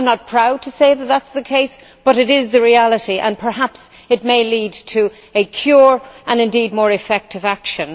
I am not proud to say that is the case, but it is the reality and perhaps it may lead to a cure, and indeed more effective action.